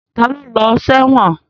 Ta ló lọ sẹ́wọ̀n?